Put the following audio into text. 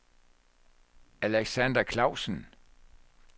Alexander Klausen